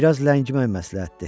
Bir az ləngimək məsləhətdir.